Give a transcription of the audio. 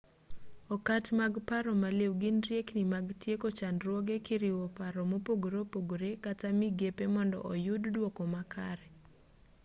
okat mag paro maliw gin riekni mag tieko chandruoge kiriwo paro mopogore opogore kata migepe mondo oyud duoko makare